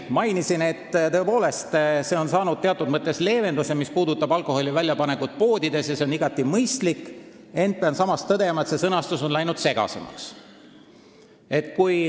Mainisin, et tõepoolest on tehtud teatud mõttes leevendus, mis puudutab alkoholi väljapanekut poodides – see on igati mõistlik –, ent pean tõdema, et sõnastus on läinud segasemaks.